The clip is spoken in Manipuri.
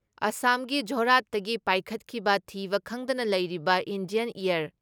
ꯑꯁꯥꯝꯒꯤ ꯖꯣꯔꯍꯥꯠꯇꯒꯤ ꯄꯥꯏꯈꯠꯈꯤꯕ ꯊꯤꯕ ꯈꯪꯗꯅ ꯂꯩꯔꯤꯕ ꯏꯟꯗꯤꯌꯥꯟ ꯑꯦꯌꯥꯔ